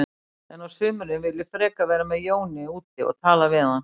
En á sumrin vil ég frekar vera með Jóni úti og tala við hann.